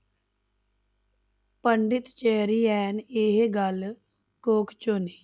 ਪੰਡਿਤ ਚੇਰੀਐਨ ਇਹ ਗੱਲ ਕੋਕਚੋ ਨੇ